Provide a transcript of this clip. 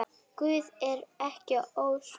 Guð er ekki ósvip